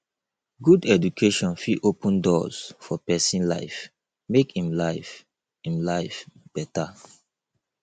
good education fit open doors for pesin life make em life em life beta